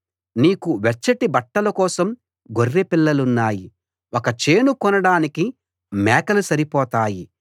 నీకు వెచ్చటి బట్టల కోసం గొర్రెపిల్లలున్నాయి ఒక చేను కొనడానికి మేకలు సరిపోతాయి